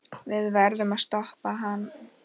Við verðum að stoppa hann.